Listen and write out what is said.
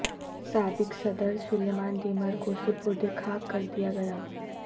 سابق صدر Suleyman Demirel کو سپرد خاک کر دیا گیا